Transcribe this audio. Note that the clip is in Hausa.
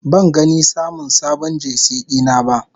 Ban gani samun sabon Jersey dina ba.